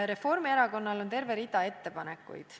Reformierakonnal on terve rida ettepanekuid.